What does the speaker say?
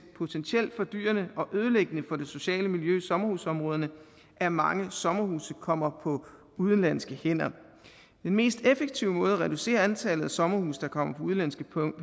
potentielt fordyrende og ødelæggende for det sociale miljø i sommerhusområderne at mange sommerhuse kommer på udenlandske hænder den mest effektive måde at reducere antallet af sommerhuse der kommer på udenlandske